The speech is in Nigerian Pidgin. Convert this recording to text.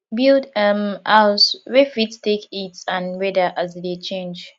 build um house wey fit take heat and weather as e dey change